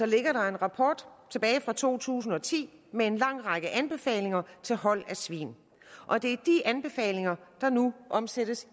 ligger der en rapport tilbage fra to tusind og ti med en lang række anbefalinger til hold af svin og det er de anbefalinger der nu omsættes